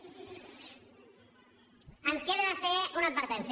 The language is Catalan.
ens queda fer una advertència